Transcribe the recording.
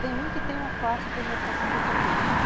Tem um que tem uma fácil penetração de tempero.